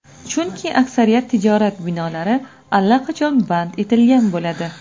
Chunki aksariyat tijorat binolari allaqachon band etilgan bo‘ladi.